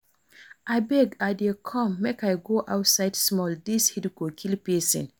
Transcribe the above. Abeg I dey come make I go outside small dis heat go kill person